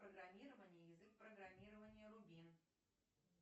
программирование язык программирования рубин